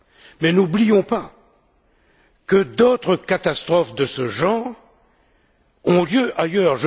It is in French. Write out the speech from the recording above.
Mais n'oublions pas que d'autres catastrophes de ce genre ont lieu ailleurs.